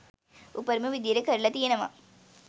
උපරිම විදියට කරල තියනව